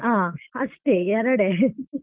ಅಷ್ಟೇ ಎರಡೇ.